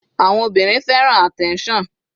Àwọn obìnrin fẹ́ràn attention.